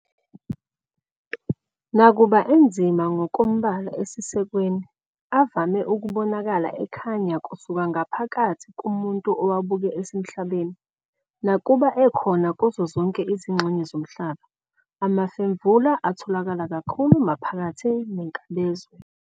Nakuba enzima ngokombala esisekweni, avame ukubonakala ekhanya kusuka ngaphakathi kumuntu owabuke esemhlabeni. Nakuba ekhona kuzo zonke izingxenye zomhlaba, amafemvula atholakala kakhulu maphakathi nenkabazwe.